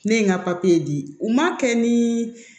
Ne ye n ka di u ma kɛ ni